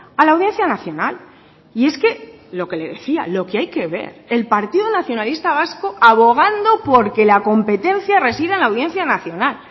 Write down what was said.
a la audiencia nacional y es que lo que le decía lo que hay que ver el partido nacionalista vasco abogando porque la competencia resida en la audiencia nacional